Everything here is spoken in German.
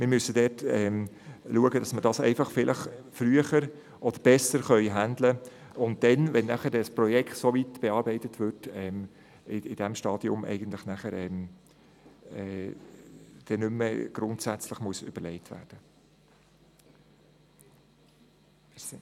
Aber wir müssen dafür sorgen, dass es besser gehandhabt wird, damit zu einem bereits ausgereiften Projekt dann nicht plötzlich grundsätzliche Überlegungen angestellt werden müssen.